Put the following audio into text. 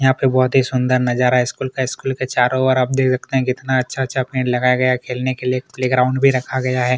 यहाँ पर बहुत ही सुंदर नजारा स्कूल का स्कूल के चारों ओर आप देख सकते है कितना अच्छा-अच्छा पेड़ लगाया गया है खेलने के लिए प्ले ग्राउंड भी रखा गया है।